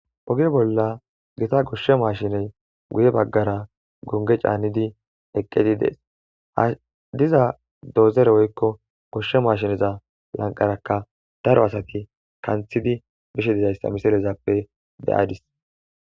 Oge bola gita gisha mashinneyi guye bagara gonige chanidi eqidi deesi ha diza doxore woyikko gosha mashinneza bagarakka daro asati kanthidi beishshe dizayisa ha misilezappe beadis